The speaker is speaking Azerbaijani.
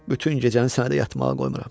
Bütün gecəni sənə də yatmağa qoymuram.